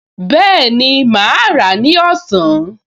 Bẹ́ẹ̀ni, mà á rà á ní ọ̀sán